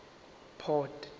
port